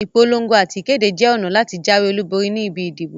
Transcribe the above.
Ìpolon̄go àti ìkéde jẹ ọ̀nà láti jáwé olúborí ni ibi ìdìbò